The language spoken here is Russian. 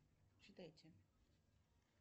читайте